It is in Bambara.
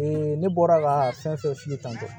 ne bɔra ka fɛn fɛn f'i ye tantɔ